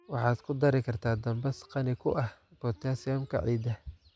Waxaad ku dari kartaa dambas qani ku ah potassium-ka ciidda.